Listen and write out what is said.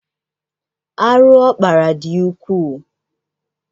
Arụ ọ kpara dị ukwuu.